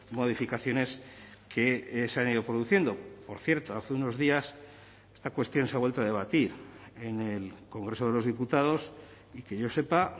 modificaciones que se han ido produciendo por cierto hace unos días esta cuestión se ha vuelto a debatir en el congreso de los diputados y que yo sepa